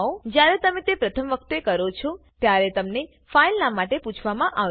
જયારે તમે તે પ્રથમ વખત કરો છોત્યારે તમને ફાઈલ નામ માટે પૂછવામાં આવશે